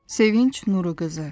Sevinc Nuru qızı.